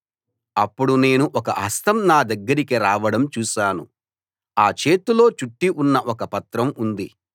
అప్పుడు నేను ఒక హస్తం నా దగ్గరికి రావడం చూశాను ఆ చేతిలో చుట్టి ఉన్న ఒక పత్రం ఉంది